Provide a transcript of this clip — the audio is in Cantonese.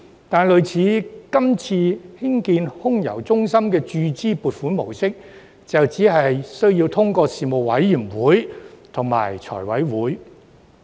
但是，類似今次興建空郵中心的注資撥款模式，就只須諮詢相關事務委員會及交由財委會審批。